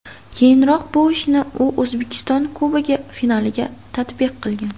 Keyinroq bu ishni u O‘zbekiston Kubogi finaliga tatbiq qilgan.